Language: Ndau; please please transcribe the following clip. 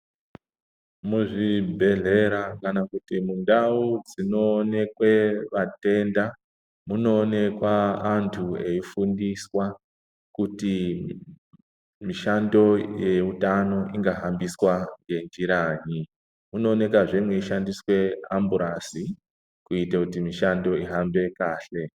Muzvibhedhlera kana kuti mundau dzinonekwe atenda, munoonekwe antu eifundiswa kuti mishando yeutano ingahambiswa ngenjiranyi. Munokwazve meishandiswe amburasi kuite kuti mishando ihambe kahle.